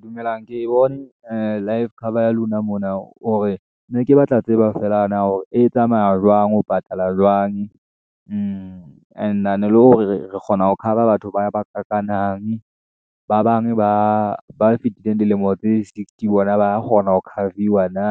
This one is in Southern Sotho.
dumelang ke bone ee life cover ya lona mona, hore ne ke batla tseba feela hore e tsamaya jwang, ho patala jwang . And-ane le hore re kgona ho cover batho ba ka kanang, ba bang ba fitileng dilemo tse sixty, bona ba kgona ho cover-viwa na.